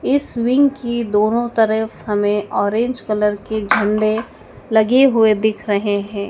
इस विंग की दोनों तरफ हमें ऑरेंज कलर के झंडे लगे हुए दिख रहे हैं।